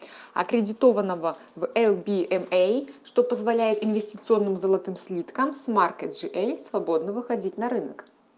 аккредитованного в эл би эм эй что позволяет инвестиционным золотым слиткам с маркой джи эй свободно выходить на рынок